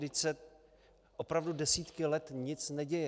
Vždyť se opravdu desítky let nic neděje.